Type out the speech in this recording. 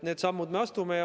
Need sammud me astume.